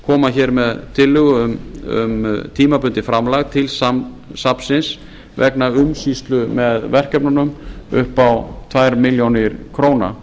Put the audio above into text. koma með tillögu um tímabundið framlag til safnsins vegna umsýslu með verkefnunum upp á tveimur milljónum króna